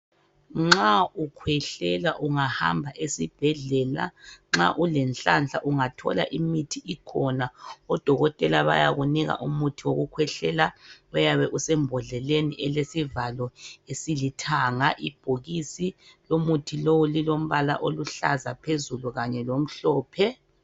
Nxa ukhwehlela ungahamba esibhedlela nxa ulenhlanhla ungathola imithi ikhona oDokotela bayakunika umuthi wokukhwehlela oyabe use mbodleleni elesivalo esilithanga. Ibhokisi lomuthi lo lilombala oluhlaza phezulu kanye lomhlophe.